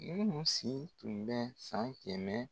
Minnu siw tun bɛ san kɛmɛ